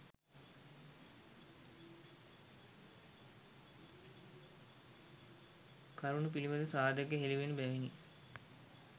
කරුණු පිළිබඳ සාධක හෙළිවන බැවිණි